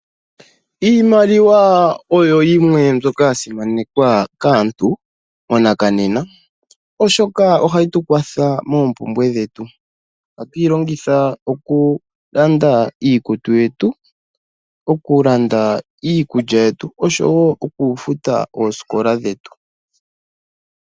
Iimaliwa oyo yimwe mbyoka ya simanekwa kaantu monakanena oshoka ohayi tukwatha moompumbwe dhetu. Ohatu yi longitha okulanda iikutu yetu, okulanda iikulya yetu oshowo okufuta oosikola dhetu .